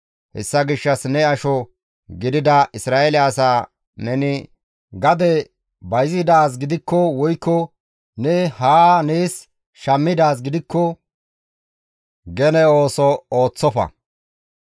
Hessa gishshas ne asho gidida Isra7eele asaa neni gade bayzidaaz gidikko woykko ne haa nees shammidaaz gidikko gene ooso ooththofa.